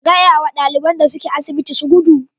Ka gaya wa ɗaliban da ke asibitin su gudu.